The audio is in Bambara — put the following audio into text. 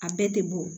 A bɛɛ tɛ bɔ